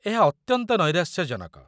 ଏହା ଅତ୍ୟନ୍ତ ନୈରାଶ୍ୟଜନକ!